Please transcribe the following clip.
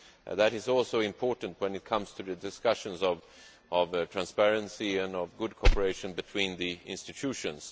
That is also important when it comes to the discussions on transparency and good cooperation between the institutions.